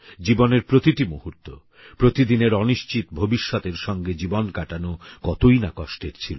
জীবনের প্রতিটি মুহূর্ত প্রতিদিনের অনিশ্চিত ভবিষ্যতের সঙ্গে জীবন কাটানো কতই না কষ্টের ছিল